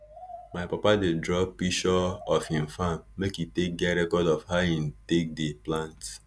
my papa dey draw pishure of hin farm make e take get record of how hin take dey plant